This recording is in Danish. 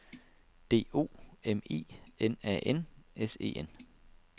D O M I N A N S E N